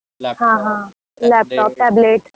हां हां, laptop tablet.